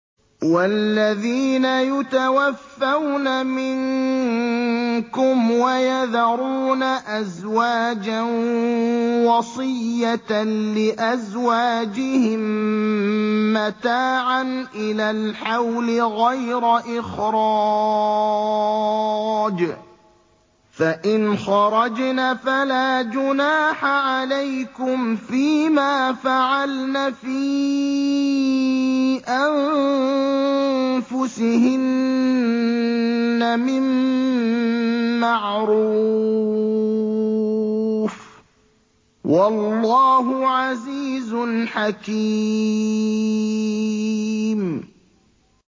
وَالَّذِينَ يُتَوَفَّوْنَ مِنكُمْ وَيَذَرُونَ أَزْوَاجًا وَصِيَّةً لِّأَزْوَاجِهِم مَّتَاعًا إِلَى الْحَوْلِ غَيْرَ إِخْرَاجٍ ۚ فَإِنْ خَرَجْنَ فَلَا جُنَاحَ عَلَيْكُمْ فِي مَا فَعَلْنَ فِي أَنفُسِهِنَّ مِن مَّعْرُوفٍ ۗ وَاللَّهُ عَزِيزٌ حَكِيمٌ